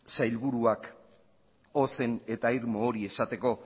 sailburuak ozen eta irmo hori esateko